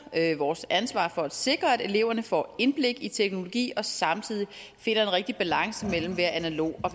vores ansvar for at sikre at eleverne får indblik i teknologi og samtidig finder en rigtig balance mellem at være analog og